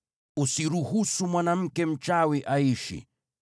“Usiruhusu mwanamke mchawi aishi.